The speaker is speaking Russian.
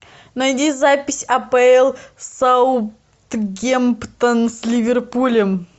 найди запись апл саутгемптон с ливерпулем